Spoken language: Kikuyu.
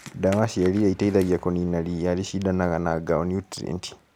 Dawa ya riia ĩteithagia kũnina riia rĩcidanaga na ngao niutrienti.